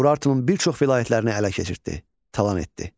Urartunun bir çox vilayətlərini ələ keçirtdi, talan etdi.